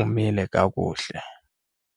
umile kakuhle.